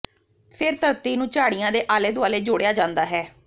ਫਿਰ ਧਰਤੀ ਨੂੰ ਝਾੜੀਆਂ ਦੇ ਆਲੇ ਦੁਆਲੇ ਜੋੜਿਆ ਜਾਂਦਾ ਹੈ